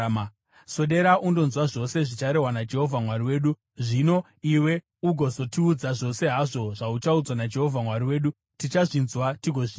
Swedera undonzwa zvose zvicharehwa naJehovha Mwari wedu. Zvino iwe ugozotiudza zvose hazvo zvauchaudzwa naJehovha Mwari wedu. Tichazvinzwa tigozviita.”